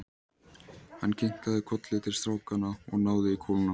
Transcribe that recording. Hann kinkaði kolli til strákanna og náði í kúluna.